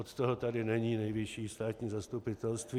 Od toho tady není Nejvyšší státní zastupitelství.